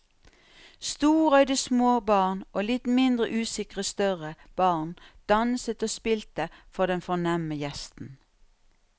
Storøyde små barn og litt mindre usikre større barn danset og spilte for den fornemme gjesten.